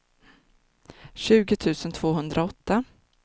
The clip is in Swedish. tjugo tusen tvåhundraåtta